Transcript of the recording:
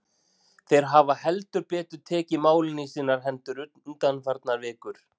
Þeir hafa heldur betur tekið málin í sínar hendur undanfarnar vikur.